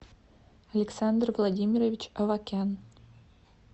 александр владимирович авакян